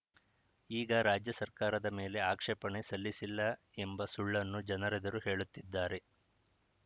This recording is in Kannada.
ಈಗ ರಾಜ್ಯ ಸರ್ಕಾರದ ಮೇಲೆ ಆಕ್ಷೇಪಣೆ ಸಲ್ಲಿಸಿಲ್ಲ ಎಂಬ ಸುಳ್ಳನ್ನು ಜನರೆದುರು ಹೇಳುತ್ತಿದ್ದಾರೆ